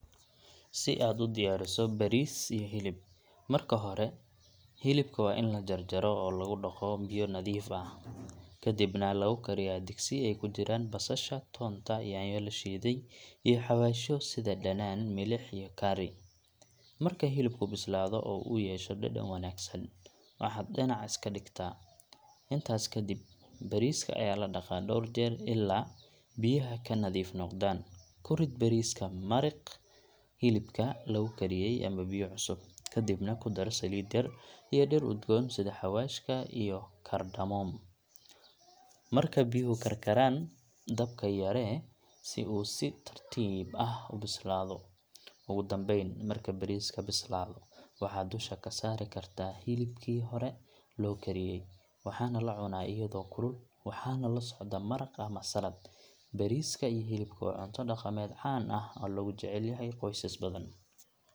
Si aad u diyaariso bariis iyo hilib, marka hore hilibka waa in la jarjaro oo lagu dhaqo biyo nadiif ah, kadibna lagu kariyaa digsi ay ku jiraan basasha, toonta, yaanyo la shiiday, iyo xawaashyo sida dhanaan, milix, iyo curry. Marka hilibku bislaado oo uu yeesho dhadhan wanaagsan, waxaad dhinac iska dhigtaa. Intaas kadib bariiska ayaa la dhaqaa dhowr jeer ilaa biyaha ka nadiif noqdaan. Ku rid bariiska maraqii hilibka lagu kariyey ama biyo cusub, kadibna ku dar saliid yar iyo dhir udgoon sida xawaashka ama cardamom. Marka biyuhu karkaraan, dabka yaree si uu si tartiib ah u bislaado. Ugu dambeyn, marka bariiska bislaado, waxaad dusha ka saari kartaa hilibkii hore loo kariyay. Waxaa la cunaa iyadoo kulul, waxaana la socda maraq ama salad. Bariiska iyo hilibku waa cunto dhaqameed caan ah oo lagu jecel yahay qoysas badan.